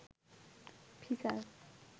feature